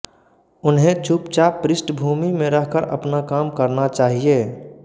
उन्हें चुपचाप पृष्ठभूमि में रहकर अपना काम करना चाहिए